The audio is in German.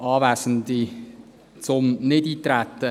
Zum Nichteintreten: